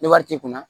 Ni wari t'i kun na